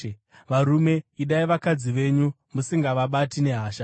Varume, idai vakadzi venyu musingavabati nehasha.